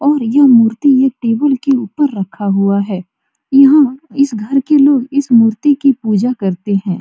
और यह मूर्ति एक टेबुल के ऊपर रखा हुआ है यहाँ इस घर के लोग इस मूर्ति की पूजा करते है।